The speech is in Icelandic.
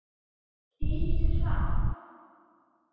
Keyri ég hratt?